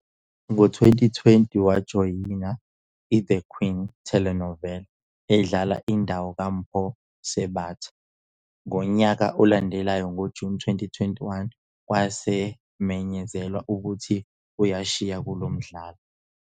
Ngo-2020, wajoyina "iThe Queen" telenova edlala indawo kaMpho Sebata, ngonyaka olandelayo ngoJuni 2021 kwamenyezelwa ukuthi uyashiya kulo mdlalo.